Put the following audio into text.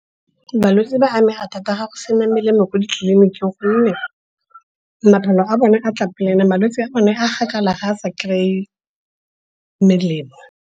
Balwetse ba amega thata ga go sena melemo kwa ditleliniking gonne maphelo a bone a tla pele and-e malwetse o ne a gakala ga a sa kry-e melemo.